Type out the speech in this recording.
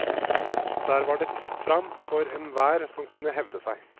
Der var det fritt fram for enhver som kunne hevde seg.